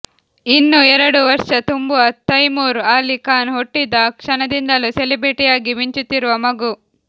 ಇನ್ನೂ ಎರಡು ವರ್ಷ ತುಂಬದ ತೈಮೂರ್ ಅಲಿ ಖಾನ್ ಹುಟ್ಟಿದ ಕ್ಷಣದಿಂದಲೂ ಸೆಲೆಬ್ರಿಟಿಯಾಗಿ ಮಿಂಚುತ್ತಿರುವ ಮಗು